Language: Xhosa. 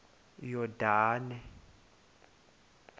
yordane